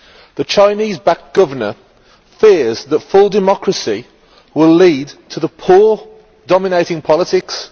The Chinese backed governor fears that full democracy will lead to the poor dominating politics.